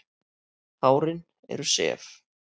Hárin eru sef.